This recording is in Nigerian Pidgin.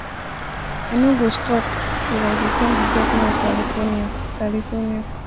i no go stop till i become the governor of california california